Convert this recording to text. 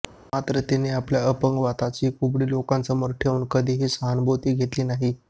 मात्र तिने आपल्या अपंगत्वाची कुबडी लोकांसमोर ठेवून कधीही सहानुभूती घेतली नाही